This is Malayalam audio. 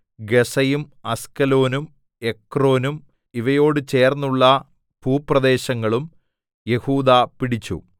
ഗസ്സയും അസ്കലോനും എക്രോനും ഇവയോടു ചേർന്നുള്ള ഭൂപ്രദേശങ്ങളും യെഹൂദാ പിടിച്ചു